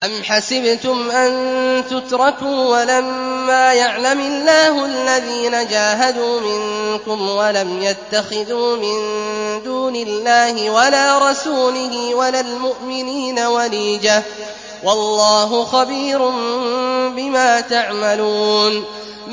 أَمْ حَسِبْتُمْ أَن تُتْرَكُوا وَلَمَّا يَعْلَمِ اللَّهُ الَّذِينَ جَاهَدُوا مِنكُمْ وَلَمْ يَتَّخِذُوا مِن دُونِ اللَّهِ وَلَا رَسُولِهِ وَلَا الْمُؤْمِنِينَ وَلِيجَةً ۚ وَاللَّهُ خَبِيرٌ بِمَا تَعْمَلُونَ